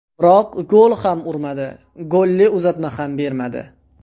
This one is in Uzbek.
Biroq gol ham urmadi, golli uzatma ham bermadi.